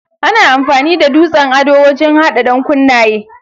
Ana amfani da dutsen ado wajen hada dankunnaye.